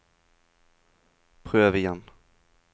prøv igjen